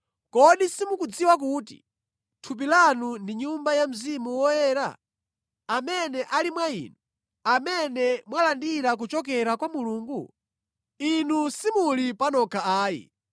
Kodi simukudziwa kuti thupi lanu ndi Nyumba ya Mzimu Woyera, amene ali mwa inu, amene mwalandira kuchokera kwa Mulungu? Inu simuli panokha ayi.